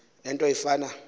le nto ifana